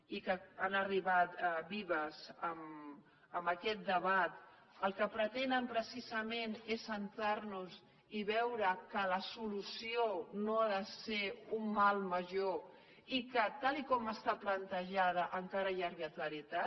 i que han arribat vives en aquest debat el que pretenen precisament és centrar nos i veure que la solució no ha de ser un mal major i que tal com està plantejada encara hi ha arbitrarietat